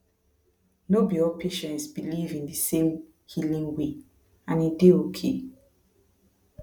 no be all patients believe in the same healing way and e dey okay